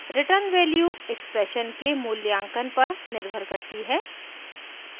* return value expression के मूल्यांकन पर निर्भर करती है